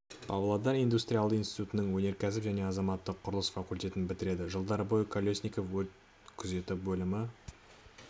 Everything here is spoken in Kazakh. павлодар индустриалдық институтының өнеркәсіп және азаматтық құрылыс факультетін бітіреді жылдары бойы колесников өрт күзеті бөлімі